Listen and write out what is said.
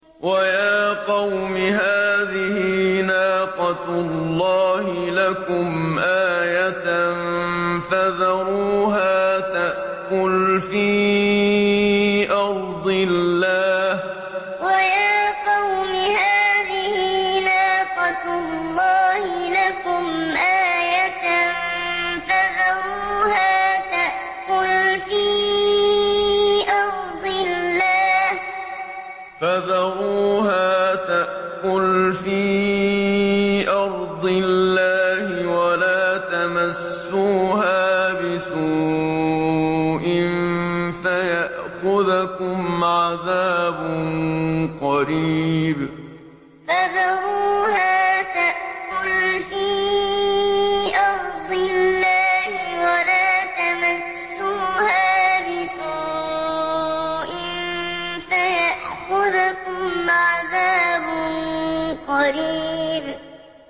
وَيَا قَوْمِ هَٰذِهِ نَاقَةُ اللَّهِ لَكُمْ آيَةً فَذَرُوهَا تَأْكُلْ فِي أَرْضِ اللَّهِ وَلَا تَمَسُّوهَا بِسُوءٍ فَيَأْخُذَكُمْ عَذَابٌ قَرِيبٌ وَيَا قَوْمِ هَٰذِهِ نَاقَةُ اللَّهِ لَكُمْ آيَةً فَذَرُوهَا تَأْكُلْ فِي أَرْضِ اللَّهِ وَلَا تَمَسُّوهَا بِسُوءٍ فَيَأْخُذَكُمْ عَذَابٌ قَرِيبٌ